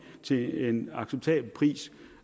til en acceptabel pris